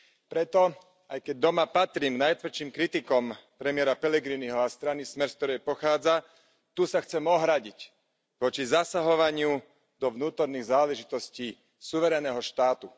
Preto, aj keď doma patrím k najtvrdším kritikom premiéra Pellegriniho a strany Smer, z ktorej pochádza, tu sa chcem ohradiť voči zasahovaniu do vnútorných záležitostí suverénneho štátu.